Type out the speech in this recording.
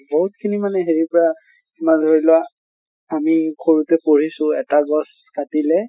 বহুত খিনি মানে হেৰি পৰা তোমাৰ ধৰি লোৱা তুমি সৰুতে পঢ়িছিলা এটা গছ কাটিলে